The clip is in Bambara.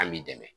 An b'i dɛmɛ